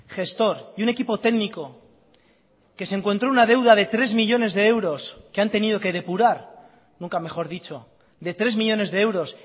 gestor y un equipo técnico que se encontró una deuda de tres millónes de euros que han tenido que depurar nunca mejor dicho de tres millónes de euros